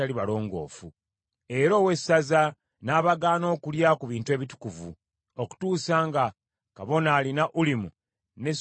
Era owessaza n’abagaana okulya ku bintu ebitukuvu, okutuusa nga kabona alina Ulimu ne Sumimu azze.